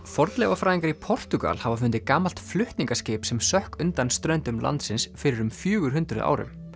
fornleifafræðingar í Portúgal hafa fundið gamalt flutningaskip sem sökk undan ströndum landsins fyrir um fjögur hundruð árum